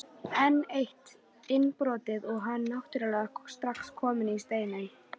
Enn eitt innbrotið og hann náttúrulega strax kominn í Steininn.